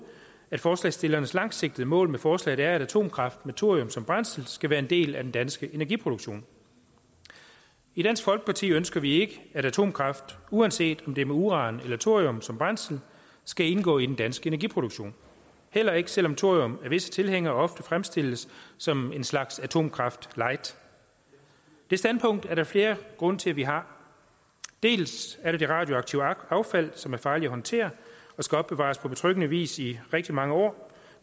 at forslagsstillernes langsigtede mål med forslaget er at atomkraft med thorium som brændsel skal være en del af den danske energiproduktion i dansk folkeparti ønsker vi ikke at atomkraft uanset om det er med uran eller thorium som brændsel skal indgå i den danske energiproduktion heller ikke selv om thorium af visse tilhængere ofte fremstilles som en slags atomkraft light det standpunkt er der flere grunde til at vi har dels er der det radioaktive affald som er farligt at håndtere og skal opbevares på betryggende vis i rigtig mange år